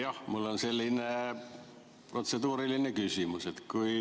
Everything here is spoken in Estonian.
Jah, mul on selline protseduuriline küsimus.